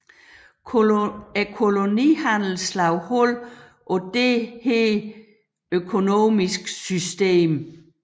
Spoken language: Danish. Kolonihandelen slog hul på dette økonomiske system